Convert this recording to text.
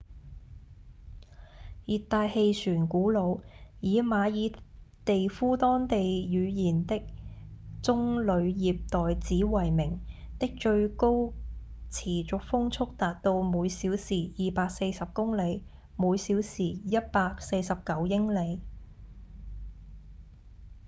熱帶氣旋古努以馬爾地夫當地語言的棕梠葉袋子為名的最高持續風速達到每小時240公里每小時149英里